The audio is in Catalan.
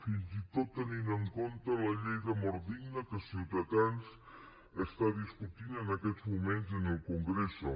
fins i tot tenint en compte la llei de mort digna que ciutadans està discutint en aquests moment en el congreso